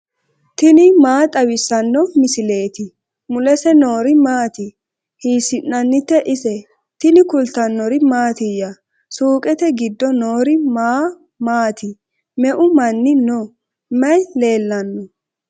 tini maa xawissanno misileeti ? mulese noori maati ? hiissinannite ise ? tini kultannori mattiya? Suqeette giddo noori ma maati? meu manni noo? may leelanno?